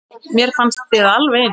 Mér fannst þið alveg eins.